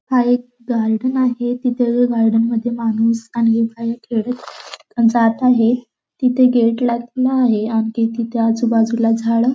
हा एक गार्डन आहे तिथ गार्डन मध्ये माणूस आणि बाई खेळत जात आहे तिथ गेट लावलेल आहे आणखी आजूबाजूला झाड--